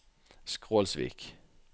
Skrolsvik